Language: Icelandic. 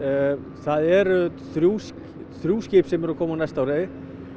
það eru þrjú þrjú skip sem koma á næsta ári